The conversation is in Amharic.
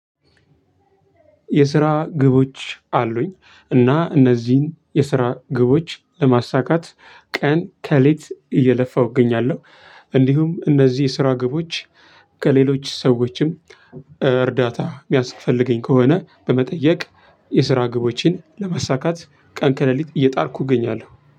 የስራ ግቦች አሉኝ እና እነዚህን የስራ ግቦች ለማሳካት ቀን ከሌት እየለፋሁ እገኛለሁ። እንዲሁም እነዚህ የስራ ግቦች ከሌሎች ሰዎችም እርዳታ የሚያስፈልገኝ ከሆነ በመጠየቅ። የስራ ግቦችን ለማሳካት ቀን ከለሊት እየጣርኩ እገኛለሁ